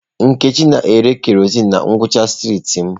Nkechi na-ere kerọsinụ na ngwụcha streetị m.